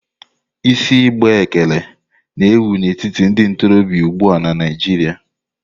Isi igbe ekere na ewù n'etiti ndị ntorobịa ugbua na Naịjirịa.